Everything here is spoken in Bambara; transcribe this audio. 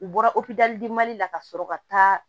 U bɔra opereli mali la ka sɔrɔ ka taa